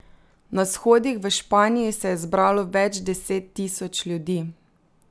Na shodih v Španiji se je zbralo več deset tisoč ljudi.